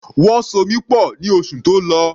Wọ́n so mi pọ̀ ní oṣù tó lọ.